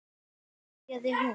byrjaði hún.